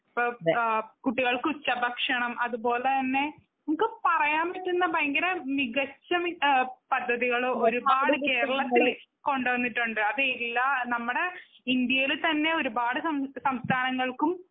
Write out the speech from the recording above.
കുട്ടികൾക്കുള്ള ഉച്ച ഭക്ഷണം അതുപോലെ തന്നെ നമുക്ക് പറയാൻ പറ്റുന്ന ഭയങ്കര മികച്ച പദ്ധതികള് ഒരുപാടു കേരളത്തില് കൊണ്ടുവന്നിട്ടുണ്ട് അതെല്ലാം നമ്മുടെ ഇന്ത്യയിൽ തന്നെ ഒരുപാട് സംസ്ഥാനങ്ങൾക്കും.